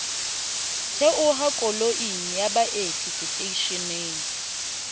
theoha koloing ya baeti seteishening